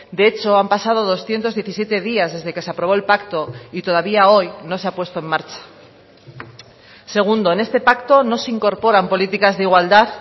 de hecho han pasado doscientos diecisiete días desde que se aprobó el pacto y todavía hoy no se ha puesto en marcha segundo en este pacto no se incorporan políticas de igualdad